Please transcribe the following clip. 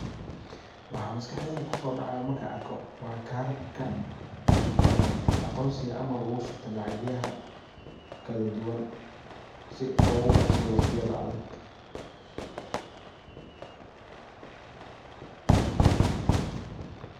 Waxaa maskaxdeyda kusodacaya waa kararka ama karka aqonsiga oo lagu shubto lacagaha kaladuwan si logu bahsado waqtiyada adag.